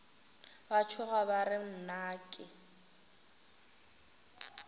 ba tšhoga ba re nnake